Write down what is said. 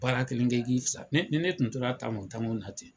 Baara kelen kɛ i 'ki sa ni ne kun tora talon talon na ten